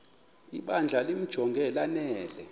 ibandla limjonge lanele